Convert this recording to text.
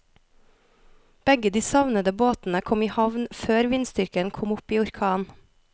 Begge de savnede båtene kom i havn før vindstyrken kom opp i orkan.